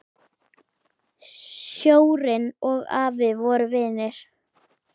Sjórinn og afi voru vinir.